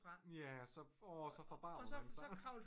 Ja så åh så forbarmer man sig